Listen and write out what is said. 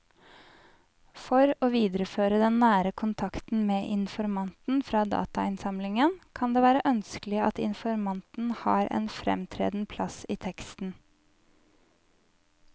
For å videreføre den nære kontakten med informanten fra datainnsamlingen kan det være ønskelig at informanten har en fremtredende plass i teksten.